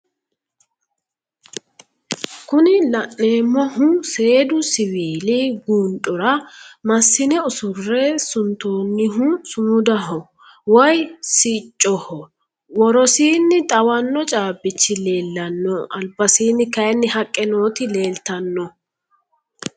kuni la'neemohu seedu siviili guundhora massine usurre suntoonihu sumudaho woyi siccoho worosiini xawanno caabichi leelanno albasiinni kayiini haqqe nooti leeltanno